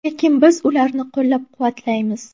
Lekin biz ularni qo‘llab-quvvatlaymiz”.